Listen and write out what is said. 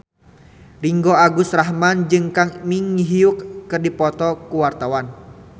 Ringgo Agus Rahman jeung Kang Min Hyuk keur dipoto ku wartawan